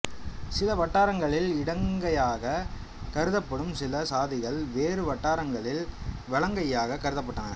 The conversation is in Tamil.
சில வட்டாரங்களில் இடங்கையாக கருதப்படும் சில சாதிகள் வேறு வட்டாரங்களில் வலங்கையாக கருதப்பட்டன